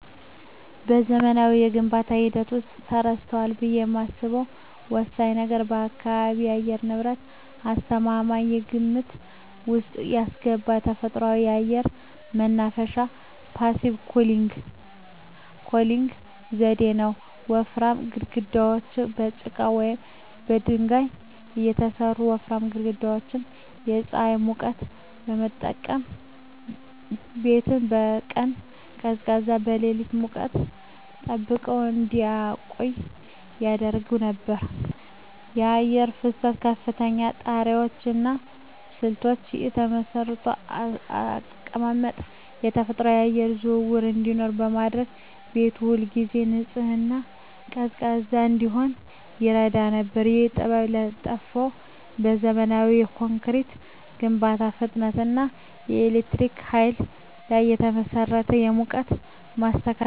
በዘመናዊው የግንባታ ሂደት ውስጥ ተረስቷል ብዬ የማስበው ወሳኝ ነገር የአካባቢ የአየር ንብረት ተስማሚነትን ከግምት ውስጥ ያስገባ ተፈጥሯዊ የአየር ማናፈሻ (Passive Cooling) ዘዴ ነው። ወፍራም ግድግዳዎች: ከጭቃ ወይም ከድንጋይ የተሠሩ ወፍራም ግድግዳዎች የፀሐይን ሙቀት በመምጠጥ ቤቱን በቀን ቀዝቃዛና በሌሊት ሙቀት ጠብቀው እንዲቆይ ያደርጉ ነበር። የአየር ፍሰት: ከፍተኛ ጣሪያዎች እና ስልታዊ የመስኮት አቀማመጥ ተፈጥሯዊ የአየር ዝውውር እንዲኖር በማድረግ ቤቱ ሁልጊዜ ንጹህና ቀዝቃዛ እንዲሆን ይረዳ ነበር። ይህ ጥበብ የጠፋው በዘመናዊ ኮንክሪት ግንባታ ፍጥነት እና በኤሌክትሪክ ኃይል ላይ በተመሠረተ የሙቀት ማስተካከያ (ኤሲ) ላይ በመተማመን ነው። ይህም የኃይል ፍጆታን እና የኑሮ ወጪን ጨምሯል።